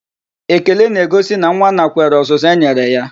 Ekele n'egosi na nwa nakwere ọzụzụ e nyere ya.